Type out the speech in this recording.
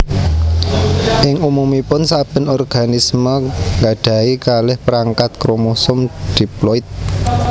Ing umumipun saben organisme gadahi kalih perangkat kromosom diploid